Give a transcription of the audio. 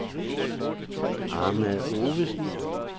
Ahmad Ovesen